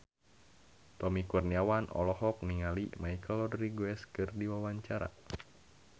Tommy Kurniawan olohok ningali Michelle Rodriguez keur diwawancara